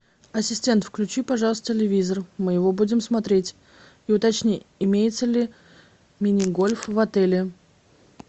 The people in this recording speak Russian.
ассистент включи пожалуйста телевизор мы его будем смотреть и уточни имеется ли мини гольф в отеле